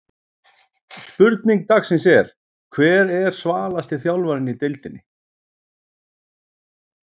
Spurning dagsins er: Hver er svalasti þjálfarinn í deildinni?